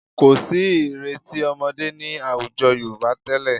Kò sí ìrètí ọmọdé ní àwùjọ Yorùbá tẹ́lẹ̀